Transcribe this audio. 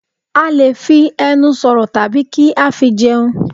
A lè fi ẹnu sọ̀rọ̀ tàbí kí á fi jẹun.